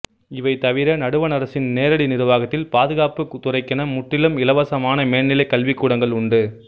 இவை தவிர நடுவண் அரசின் நேரடி நிர்வாகத்தில் பாதுகாப்பு துறைக்கென முற்றிலும் இலவசமான மேல்நிலைக் கல்விக்கூடங்கள் உண்டு